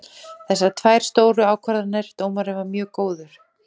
Þessar tvær stóru ákvarðanir, dómarinn var mjög góður.